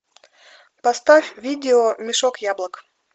поставь видео мешок яблок